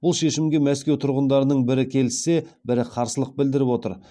бұл шешімге мәскеу тұрғындарының бірі келіссе бірі қарсылық білдіріп отыр